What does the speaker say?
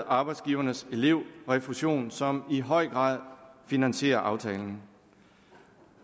arbejdsgivernes elevrefusion som i høj grad finansierer aftalen